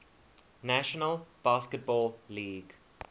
national basketball league